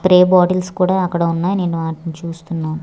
Free bottles కూడా అక్కడ ఉన్నాయ్ నేను ఆటిని చూస్తున్నాను.